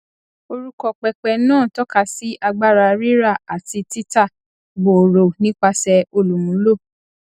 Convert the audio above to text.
orúkọ pẹpẹ náà tọka sí agbára rírà àti títà gbòòrò nípasẹ olúmúló